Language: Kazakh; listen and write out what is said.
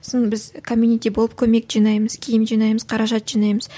сосын біз комьюнити болып көмек жинаймыз киім жинаймыз қаражат жинаймыз